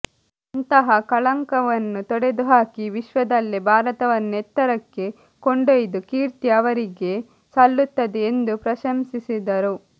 ಅಂತಹ ಕಳಂಕವನ್ನು ತೊಡೆದು ಹಾಕಿ ವಿಶ್ವದಲ್ಲೇ ಭಾರತವನ್ನು ಎತ್ತರಕ್ಕೆ ಕೊಂಡೊ ಯ್ದ ಕೀರ್ತಿ ಅವರಿಗೆ ಸಲ್ಲುತ್ತದೆ ಎಂದು ಪ್ರಶಂಸಿಸಿದರು